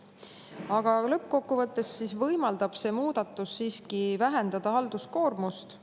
Aga lõppkokkuvõttes võimaldab see muudatus siiski vähendada halduskoormust.